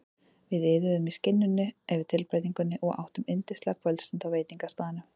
Við iðuðum í skinninu yfir tilbreytingunni og áttum yndislega kvöldstund á veitingastaðnum.